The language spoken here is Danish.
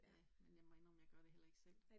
Ja, men jeg må indrømme, jeg gør det heller ikke selv